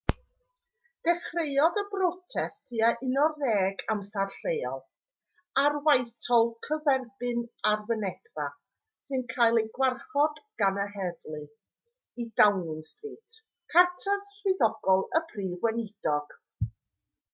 dechreuodd y brotest tua 11:00 amser lleol utc+1 ar whitehall gyferbyn â'r fynedfa sy'n cael ei gwarchod gan yr heddlu i downing street cartref swyddogol y prif weinidog